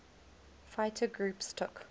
fighter groups took